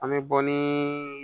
An bɛ bɔ ni